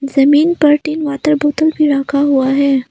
जमीन पर तीन वाटर बोतल भी रखा हुआ है।